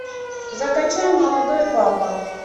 закачай молодой папа